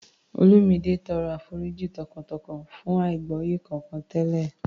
Olumide tọrọ àforíjì tọkàntọkàn fún àìgbọ́yé kankan tẹ́lẹ̀